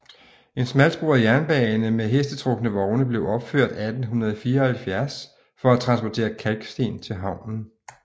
En smalsporet jernbane med hestetrukne vogne blev opført 1874 for at transportere kalksten til havnen